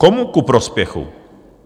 Komu ku prospěchu?